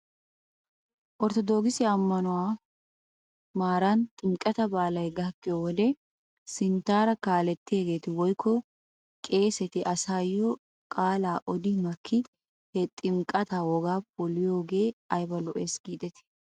Ortodookise ammanuemwaa maaran ximqqataa baalay gakkiyyo wodiyan sinttaara kaalettiyaageeti woykko qeeseti asaayyo qaalaa odi makki he ximqqataa wogaa poliyoogee ayba lo'es giidetii?